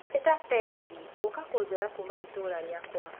Ĩta tegithi gũka kũnjoya kuuma itũra rĩakwa